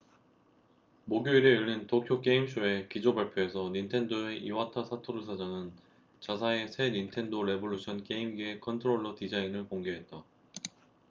목요일에 열린 도쿄 게임쇼의 기조 발표에서 닌텐도의 이와타 사토루 사장은 자사의 새 닌텐도 레볼루션 게임기의 컨트롤러 디자인을 공개했다